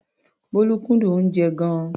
Bólú kúndùn oúnjẹ gan-an.